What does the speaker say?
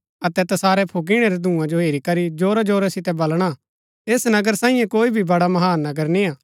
अतै तसारै फुक्कीणै रै धूंआ जो हेरी करी जोरा जोरा सितै बलणा ऐस नगर सांईये कोई भी बड़ा महान नगर निय्आ